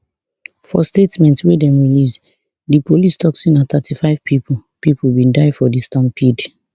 for statement wey dem release di police tok say na thirty-five pipo pipo bin die for di stampede